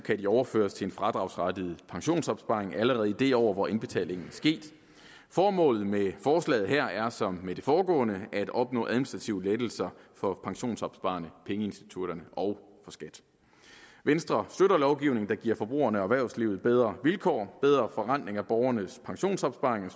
overføres til en fradragsberettiget pensionsopsparing allerede i det år hvor indbetalingen er sket formålet med forslaget her er som med det foregående at opnå administrative lettelser for pensionsopsparerne pengeinstitutterne og for skat venstre støtter lovgivning der giver forbrugerne og erhvervslivet bedre vilkår bedre forrentning af borgernes pensionsopsparing